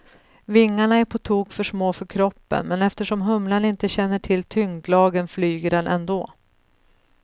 Vingarna är på tok för små för kroppen, men eftersom humlan inte känner till tyngdlagen flyger den ändå.